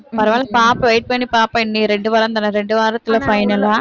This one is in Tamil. பரவாயில்ல பாப்போம் wait பண்ணிப்பாப்போம் இனி ரெண்டு வாரம்தானே ரெண்டு வாரத்துல final ஆ